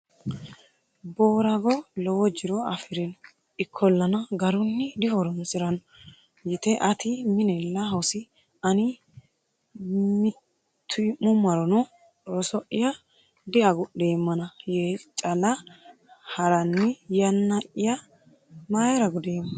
Boorago lowo jiro afi’rino; ikkollana, garunni dihoroonsi’ranno yite Ati minella hosi ani mitii’mummarono roso’ya diagudheemmana yee cala haraani yaanaya mayira gudema?